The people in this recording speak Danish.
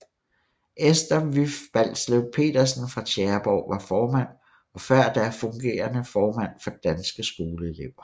Esther Vyff Balslev Petersen fra Tjæreborg var formand og før da fungerende formand for Danske Skoleelever